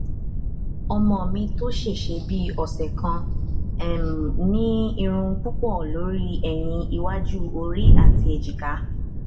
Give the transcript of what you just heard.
ọmọ mi tó ṣẹṣẹ bíi ọsẹ kan um ní irun púpọ lórí ẹyìn iwájú ori àti ẹjìká